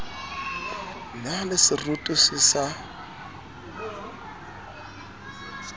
na le seroto se sa